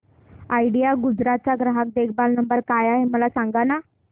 idea Gujarat चा ग्राहक देखभाल नंबर काय आहे मला सांगाना